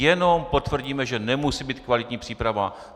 Jenom potvrdíme, že nemusí být kvalitní příprava.